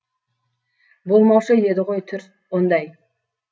болмаушы еді ғой түр ондай